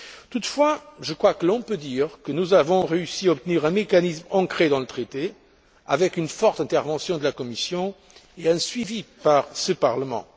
Toutefois, je crois que l'on peut dire que nous avons réussi à obtenir un mécanisme ancré dans le traité, avec une forte intervention de la Commission et un suivi par ce Parlement.